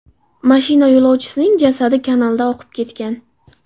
Mashina yo‘lovchisining jasadi kanalda oqib ketgan.